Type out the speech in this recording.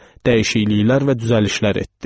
Dəyişikliklər və düzəlişlər etdi.